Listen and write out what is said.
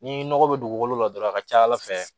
Ni nɔgɔ bɛ dugukolo la dɔrɔn a ka ca ala fɛ